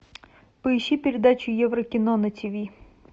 поищи передачу еврокино на тв